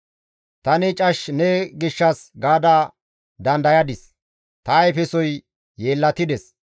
Tani cash ne gishshas gaada dandayadis; ta ayfesoy yeellatides.